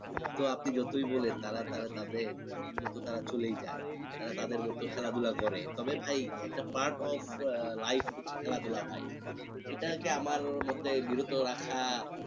তো আপনি যতই বলেন তারা তারা তাদের মতো তারা চলেই যায় তারা তাদের মতো খেলাধুলা করে তবে ভাই একটা part of life হচ্ছে খেলাধুলা ভাই এটাকে আমার মধ্যে বিরত রাখা